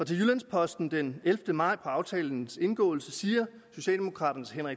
til jyllands posten den ellevte maj aftalens indgåelse siger socialdemokraternes herre